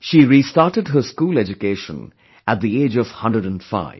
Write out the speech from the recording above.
She restarted her school education at the age of 105